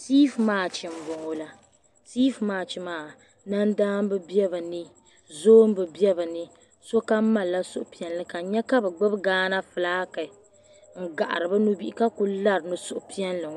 Siif mach m bɔŋɔ la siif mach maa nandamba be bɛ ni zɔmba be bɛ ni sɔkam malili suhupiɛlli ka n nyɛ ka bɛ gbubi Ghana flaaki n gahiri bɛ nubihi ka kuli lari ni suhupiɛlli